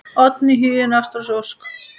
Oddný, Huginn, Ástrós og Ósk.